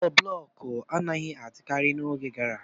Ụlọ blọk anaghị adịkarị n'oge gara aga.